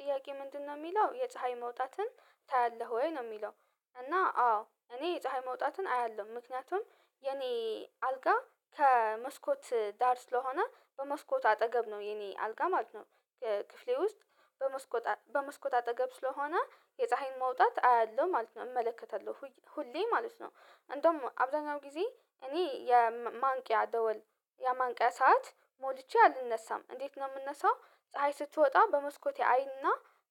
ጥያቄ ምንድነው የሚለው የፀሀይ መውጣትን ታያለህ ወይ ነው የሚለው? እና አዎ እኔ ፀሀይ መውጣትን አያለሁ ምክንያቱም የኔ አልጋ ከመስኮት ዳር ስለሆነ በመስኮት አጠገብ ነው የኔ አልጋ ማለት ነው። ክፍሌ ውስጥ በመስኮት በመስኮት አጠገብ ስለሆነ የፀሀይን መውጣት አያለሁ ማለት ነው እመለከታለምሁ ሁሌ ማለት ነው። እንደውም አብዛኛውን ጊዜ እኔ የማንቂያ ደወል የማንቂያ ሰዓት ሞልቼ አልነሳም እንዴት ነው የምነሳው ፀሀይ ስትወጣ በመስኮቴ አይና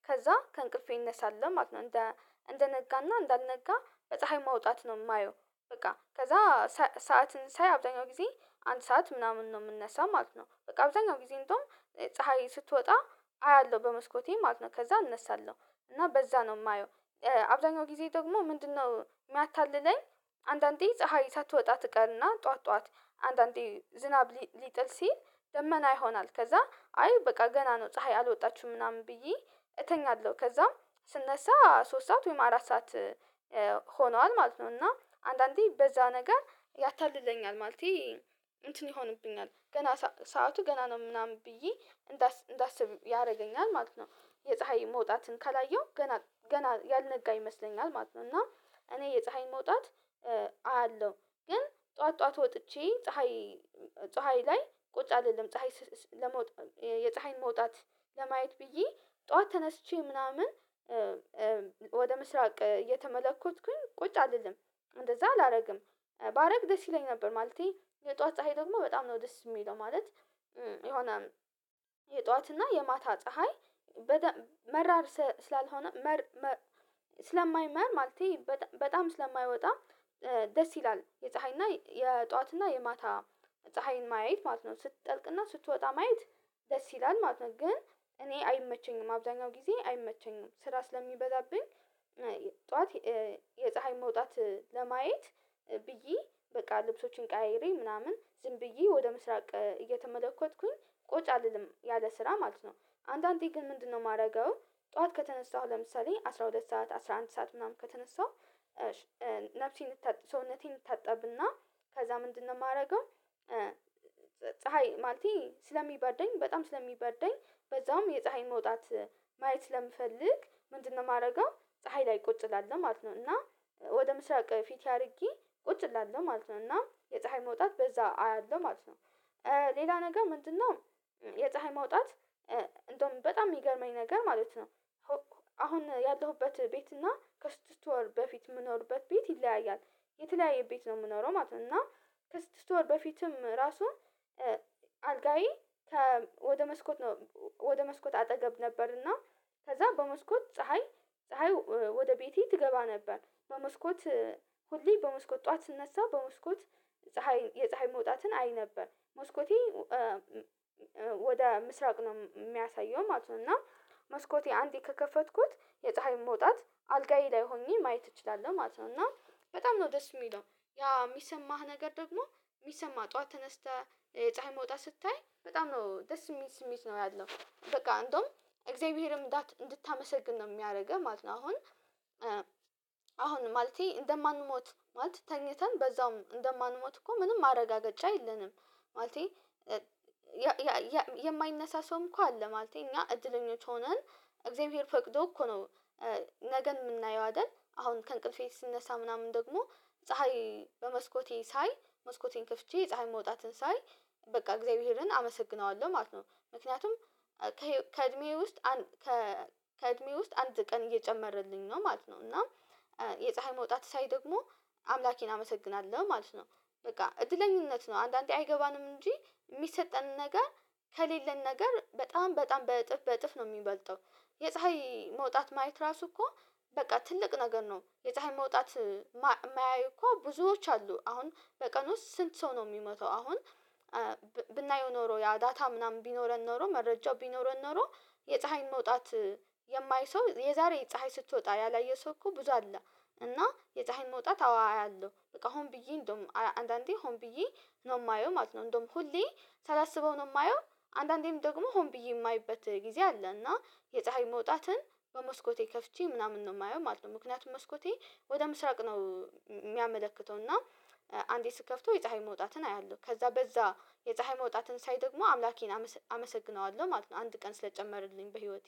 ከዛ ከእንቅልፌ እነሳለሁ ማለት ነው። እንደ እንደነጋና እንዳልነጋ በፀሀይ ማውጣት ነው የማየው በቃ ከዛ ሰዓትን ሳይ አብዛኛው ጊዜ አንድ ሰዓት ምናምን ነው የምንነሳው ማለት ነው። በቃ በአብዛኛው ጊዜ እንደውም ፀሀይ ስትወጣ አያለሁ በመስኮቴ ማለት ነው። ከዛ አነሳለሁ እና በዛ ነው የማየው። አብዛኛው ጊዜ ደግሞ ምንድነው የሚያታልለኝ? አንዳንዴ ፀሀይ ሳትወጣ ትቀርና ጠዋት ጠዋት አንዳንዴ ዝናብ ሊጥል ሲል ደመና ይሆናል ከዛ አይ በቃ ገና ነው ፀሀይ አልወጣችሁም ምናምን ብዬ እተኛለሁ ከዛም ስነሳ ሶስት ሰዓት ወይም አራት ሰዓት ሆኗል ማለት ነው። እና አንዳንዴ በዛ ነገር ያታልለኛል ማለቴ እንትን ይሆንብኛል ገና ሰዓቱ ገና ነው ምናምን ብዬ እንዳስብ ያደርገኛል ማለት ነው። የፀሀይ መውጣትን ካላየሁ ገና ገና ያልነጋ ይመስለኛል ማለት ነው። እና እኔ የፀሀይን መውጣት አያለሁ ግን ጠዋት ጠዋት ወጥቼ ፀሀይ ፀሀይ ላይ ቁጭ አይደለም ፀሀይ ለመውጣት የፀሀይን መውጣት ለማየት ብዬ ጠዋት ተነስቼ ምናምን ወደ ምስራቅ እየተመለከትኩኝ ቁጭ አልልም እንደዛ አላደርግም። ባደርግ ደስ ይለኝ ነበር ማለቴ የጧት ፀሀይ ደግሞ በጣም ነው ደስ የሚለው ማለት የሆነ የጧት እና የማታ ፀሀይ መራርስ ስላልሆነ መር ስለማይመር ማለቴ በጣም ስለማይወጣ ደስ ይላል የፀሀይና የጧትና የማታ ፀሀይን ማየት ማለት ነው። ስትጠልቅና ስትወጣ ማየት ደስ ይላል ማለት ነው። ግን እኔ አይመቸኝም አብዛኛው ጊዜ አይመቸኝም ስራ ስለሚበዛብኝ ጠዋት የፀሀይ መውጣት ለማየት ብዬ በቃ ልብሶችን ቀይሬ ምናምን ዝም ብዬ ወደ ምስራቅ እየተመለከትኩኝ ቁጭ አልልም ያለ ስራ ማለት ነው። አንዳንዴ ግን ምንድነው የማደርገው? ጠዋት ከተነሳሁ ለምሳሌ አስራ ሁለት ሰዓት አስራ አንድ ሰዓት ምናምን ከተነሳሁ ነፍሴን ሰውነቴን እንታጠብና ከዛ ምንድነው የማደርገው? ፀሀይ ማለቴ ስለሚበርደኝ በጣም ስለሚበርደኝ በዛውም የፀሀይ መውጣት ማየት ስለምፈልግ ምንድነው የማደርገው ፀሀይ ላይ ቁጭ እላለሁ ማለት ነው እና ወደ ምስራቅ ፊቴ አድርጌ ቁጭ እላለሁ ማለት ነው እና የፀሀይ መውጣት በዛ አያለሁ ማለት ነው። ሌላ ነገር ምንድነው? የፀሀይ ማውጣት እንደውም በጣም የሚገርመኝ ነገር ማለት ነው። አሁን ያለሁበት ቤት እና ከስድስት ወር በፊት የምኖርበት ቤት ይለያያል የተለያየ ቤት ነው የምኖረው ማለት ነው። እና ከስድስት ወር በፊትም ራሱ አልጋዬ ወደ መስኮት ነው ወደ መስኮት አጠገብ ነበርና ከዛ በመስኮት ፀሀይ ፀሀይ ወደ ቤቴ ትገባ ነበር በመስኮት ሁሌ በመስኮት ጠዋት ስነሳ በመስኮት ፀሀይ የፀሀይ መውጣትን አይ ነበር መስኮቴ ወደ ምስራቅ ነው የሚያሳየው ማለት ነው እና መስኮቴ አንዴ ከከፈትኩት የፀሀይ መውጣት አልጋዬ ላይ ሆኜ ማየት እችላለሁ ማለት ነው። እና በጣም ነው ደስ የሚለው ያ የሚሰማህ ነገር ደግሞ የሚሰማ ጠዋት ተነስተህ ፀሀይ መውጣት ስታይ በጣም ነው ደስ የሚል ስሜት ነው ያለው በቃ እንደውም እግዚአብሔርም እንዳት እንድታመሰግን ነው የሚያደርገው ማለት ነው። አሁን አሁን ማለቴ እንደማንሞት ማለት ተኝተን በዛውም እንደማንሞት እኮ ምንም ማረጋገጫ የለንም። ማለቴ የማይነሳ ሰው እንኳን አለ ማለቴ እኛ እድለኞች ሆነን እግዚአብሔር ፈቅዶ እኮ ነው ነገን የምናየው አይደል? አሁን ከእንቅልፌ ስነሳ ምናምን ደግሞ ፀሀይ በመስኮቴ ሳይ መስኮቴን ከፍቼ ፀሀይ መውጣትን ሳይ በቃ እግዚአብሔርን አመሰግነዋለሁ ማለት ነው። ምክንያቱም ከእድሜዬ ውስጥ ከእድሜዬ ውስጥ አንድ ቀን እየጨመረልኝ ነው ማለት ነው። እና የፀሀይ መውጣት ሳይ ደግሞ አምላኬን አመሰግናለሁ ማለት ነው በቃ እድለኝነት ነው አንዳንዴ አይገባንም እንጂ የሚሰጠን ነገር ከሌለን ነገር በጣም በጣም በእጥፍ በእጥፍ ነው የሚበልጠው የፀሀይ መውጣት ማየት ራሱ እኮ በቃ ትልቅ ነገር ነው። የፀሀይ መውጣት የማያዩ እኮ ብዙዎች አሉ አሁን በቀን ውስጥ ስንት ሰው ነው የሚመተው አሁን? ብናየው ኖሮ ያ ዳታ ምናምን ቢኖረን ኖሮ መረጃው ቢኖረን ኖሮ የፀሀይን መውጣት የማያይ ሰው የዛሬ ፀሀይ ስትወጣ ያላየ ሰው እኮ ብዙ አለ። እና የፀሀይን መውጣት አዎያለሁ በቃ ሆን ብዬ እንደውም አንዳንዴ ሆን ብዬ ነው የማየው ማለት ነው። እንደውም ሁሌ ሳላስበው ነው የማየው አንዳንዴም ደግሞ ሆን ብዬ የማይበት ጊዜ አለ። እና የፀሀይ መውጣትን በመስኮቴ ከፍቼ ምናምን ነው የማየው ማለት ነው። ምክንያቱም መስኮቴ ወደ ምስራቅ ነው የሚያመለክተው እና አንዴ ስከፍተው የፀሀይ መውጣትን አያለሁ ከዛ በዛ የፀሀይ መውጣትን ሳይ ደግሞ አምላኬን አመሰግነዋለሁ ማለት ነው። አንድ ቀን ስለጨመርልኝ በህይወቴ